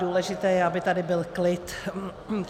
Důležité je, aby tady byl klid.